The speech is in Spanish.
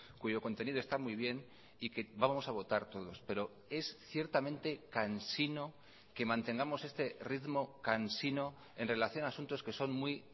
cuyo contenido está muy bien y que vamos a votar todos pero es ciertamente cansino que mantengamos este ritmo cansino en relación a asuntos que son muy